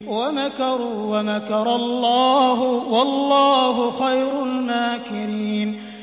وَمَكَرُوا وَمَكَرَ اللَّهُ ۖ وَاللَّهُ خَيْرُ الْمَاكِرِينَ